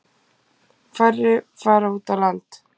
Færri fara út á land.